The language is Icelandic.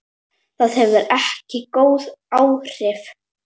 Það hefur ekki góð áhrif.